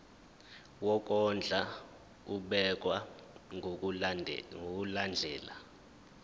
wokondla ubekwa ngokulandlela